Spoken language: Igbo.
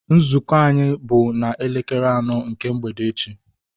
Nzukọ anyị bụ na elekere anọ nke mgbede echi